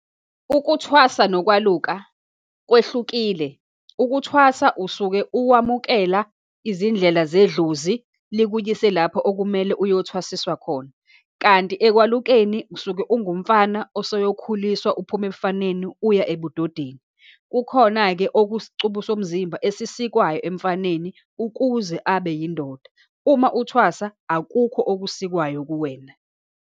Ukuthwasa nokwaluka kwehlukile. Ukuthwasa, usuke uwamukela izindlela zedlozi, likuyise lapho okumele uyothwasiswa khona. Kanti ekwalulekeni, usuke ungumfana oseyokhuliswa uphume ebufaneni uya ebudodeni. Kukhona-ke okusicubu somzimba esisikwaziyo emfaneni ukuze abe yindoda. Uma uthwasa akukho okusikwayo kuwena.